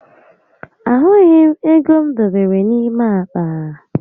Ahụghi m égo m dobere n'ime àkpà